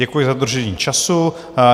Děkuji za dodržení času.